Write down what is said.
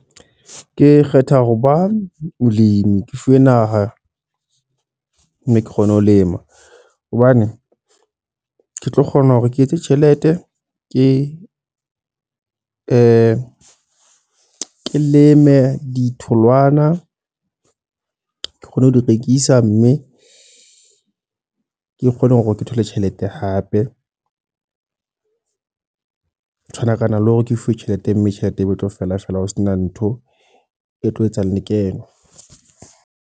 Ke kgetha ho ba molemi. Ke fuwe naha, mme ke kgone ho lema. Hobane ke tlo kgona hore ke etse tjhelete ke ke leme ditholwana. Ke kgone ho di rekisa, mme ke kgone hore ke thole le tjhelete hape. Tshwanakana le hore ke fuwe tjhelete, mme tjhelete eo e tlo fella fela ho sena ntho e tlo etsa lekeno.